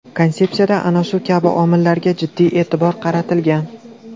Konsepsiyada ana shu kabi omillarga jiddiy e’tibor qaratilgan.